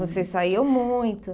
Você saiu muito.